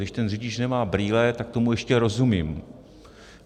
Když ten řidič nemá brýle, tak tomu ještě rozumím.